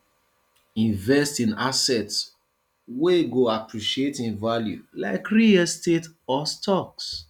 invest in assets wey go appreciate in value like real estate or stocks